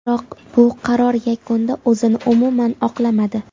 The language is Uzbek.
Biroq bu qaror yakunda o‘zini umuman oqlamadi.